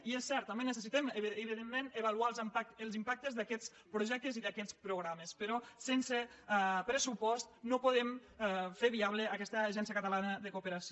i és cert també necessitem evidentment avaluar els impactes d’aquests projectes i d’aquests programes però sense pressupost no podem fer viable aquesta agència catalana de cooperació